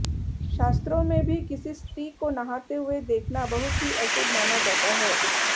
शास्त्रों में भी किसी स्त्री को नहाते हुए देखना बहुत ही अशुभ माना जाता है